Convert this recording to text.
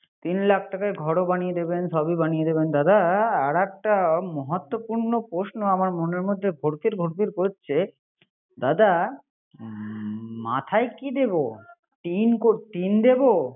তিন লাখ টাকায় ঘরও বানিয়ে দিবেন, সবই বানিয়ে দিবেন, দাদা. । আর একটা মহার্ত পূর্ণ প্রশ্ন আমার মনের মধ্যে গট গট করছে। দাদা মাথায় কি দিব টিন দিব।